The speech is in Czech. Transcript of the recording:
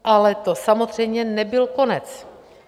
Ale to samozřejmě nebyl konec.